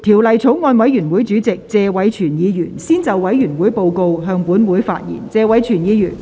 法案委員會主席謝偉銓議員先就委員會報告，向本會發言。